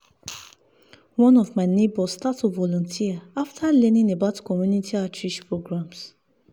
one of my neighbors start to volunteer after learning about community outreach programs.